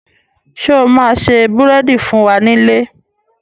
Sọ ma se búrèdì fún wa nílé?